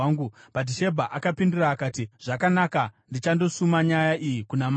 Bhatishebha akapindura akati, “Zvakanaka, ndichandosuma nyaya iyi kuna mambo.”